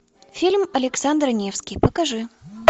фильм александр невский покажи